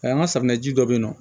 an ka safunɛji dɔ bɛ yen nɔ